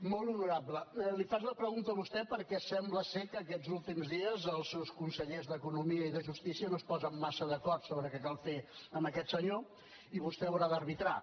molt honorable li faig la pregunta a vostè perquè sembla que aquests últims dies els seus consellers d’economia i de justícia no es posen massa d’acord sobre què cal fer amb aquest senyor i vostè haurà d’arbitrar